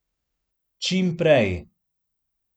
Čim prej.